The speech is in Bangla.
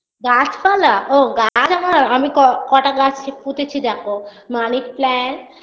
গাছপালা ও গাছ আমার আমি ক কটা গাছ পুঁতেছি দেখো money plant